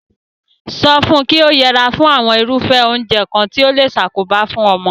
So fun ki o yera fún àwon irúfé oúnje kan ti o le sakoba fun omo